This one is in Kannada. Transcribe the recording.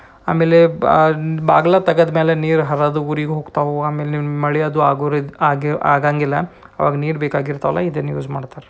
ಆಮೇಲೆ ಬಗಲ ತೆಗೆದ ಮೇಲೆ ನೀರ್ ಹಾರದು ಊರಿಗ್ ಹೋಗ್ತುವ ಆಮೇಲೆ ಮಲೆಯೋದು ಆಗೊರಿದ್ ಆಗೇ- ಆಗಂಗಿಲ್ಲ ಅವಾಗ ನೀರ್ ಬೇಕಾಗಿರ್ತಲ್ಲ ಇದನ್ನ ಯುಸ್ ಮಾಡ್ತಾರೆ.